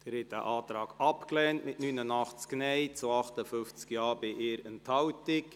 Sie haben den Antrag abgelehnt mit 89 Nein- zu 58 Ja-Stimmen bei 1 Enthaltung.